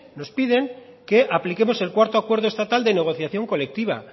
nos piden que apliquemos el cuarto acuerdo estatal de negociación colectiva